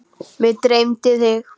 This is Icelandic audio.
Mig dreymdi þig.